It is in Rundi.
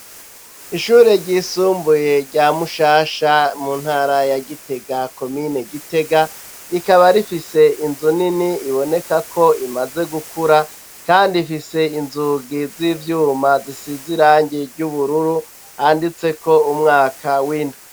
Ishure ryisumbuye, rya Mushasha, mu ntara ya Gitega, komine Gitega, rikaba rifise inzu nini, iboneka ko imaze gukura; kandi, ifise inzugi z'ivyuma, zisize irangi ry'ubururu, handitseko umwaka w'indwi.